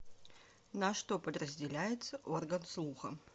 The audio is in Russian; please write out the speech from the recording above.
на что подразделяется орган слуха